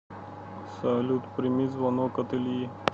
салют прими звонок от ильи